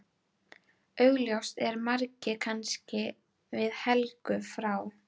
Augljóst er að margir kannast við Helgu frá